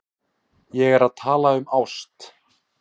Ég er að tala um ást.